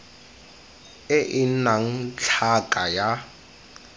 e e nnang tlhaka ya